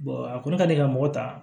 a kɔni ka di ka mɔgɔ ta